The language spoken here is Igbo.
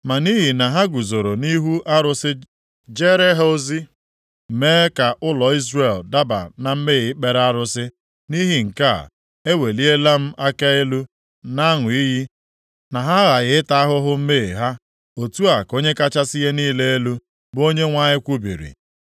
Ma nʼihi na ha guzoro nʼihu arụsị jeere ha ozi, mee ka ụlọ Izrel daba na mmehie ikpere arụsị, + 44:12 Ghọrọ ụlọ Izrel ihe ịsọ ngọngọ nke ajọ omume nʼihi nke a, eweliela m aka elu na-aṅụ iyi na ha aghaghị ịta ahụhụ mmehie ha. Otu a ka Onye kachasị ihe niile elu, bụ Onyenwe anyị kwubiri.